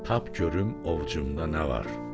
Tap görüm ovcumda nə var?